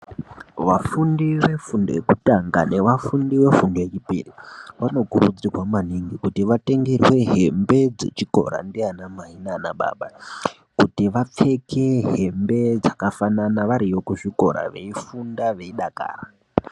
Vafundi vefundo yekutanga nevafundi vefundo yechipiri vanokurudzirwa maningi kuti vatengerwe hembe dzechikora ndianamai nanababa kuti vapfeke hembe dzakafanana variyo kuzvikora veifunda veidakara.